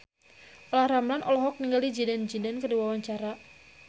Olla Ramlan olohok ningali Zidane Zidane keur diwawancara